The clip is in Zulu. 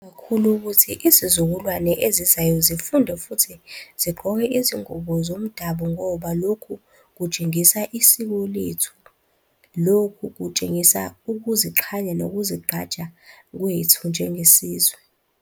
Kakhulu ukuthi izizukulwane ezizayo zifunde futhi zigqoke izingubo zomdabu ngoba lokhu kutshengisa isiko lethu, lokhu kutshengisa ukuziqhanya nokuzigqaja njengesizwe.